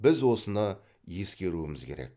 біз осыны ескеруіміз керек